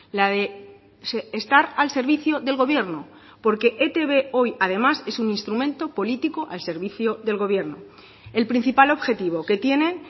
la de estar al servicio del gobierno porque etb hoy además es un instrumento político al servicio del gobierno el principal objetivo que tienen